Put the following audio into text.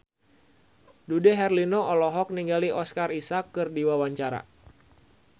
Dude Herlino olohok ningali Oscar Isaac keur diwawancara